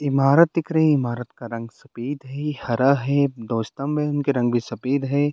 इमारत दिख रही है इमारत का रंग सफ़ेद है हरा है में उनके रंग भी सफ़ेद है।